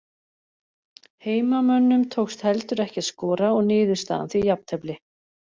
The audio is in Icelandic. Heimamönnum tókst heldur ekki að skora og niðurstaðan því jafntefli.